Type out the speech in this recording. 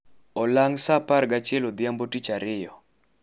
olang saa apargi achiel odhiambo tich ariyo